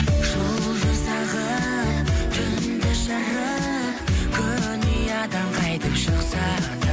жұлдыз ағып түнді жарып күн ұядан қайтып шықса да